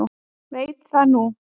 Veit það núna.